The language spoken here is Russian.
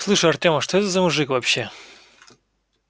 слушай артем а что это за мужик вообще